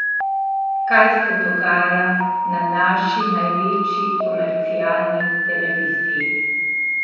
Kaj se dogaja na naši največji komercialni televiziji?